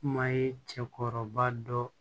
Kuma ye cɛkɔrɔba dɔ